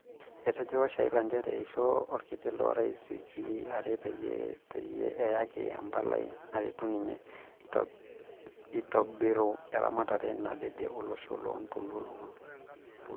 Etejo washaila njere eishoo olkiti lorais wikii are peyie peyie eyaki empalai naretu ninye eitobiro eramatare nadede olosho loontoluo lolosho.